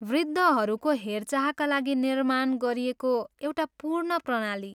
वृद्धहरूको हेरचाहका लागि निर्माण गरिएको एउटा पूर्ण प्रणाली।